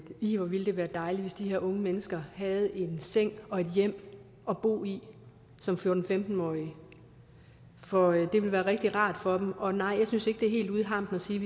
ih hvor ville det være dejligt hvis de her unge mennesker havde en seng og et hjem at bo i som fjorten til femten årige for det ville være rigtig rart for dem og nej jeg synes ikke det er helt ude i hampen at sige